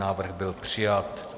Návrh byl přijat.